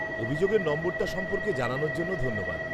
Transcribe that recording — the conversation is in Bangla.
-অভিযোগের নম্বরটা সম্পর্কে জানানোর জন্য ধন্যবাদ।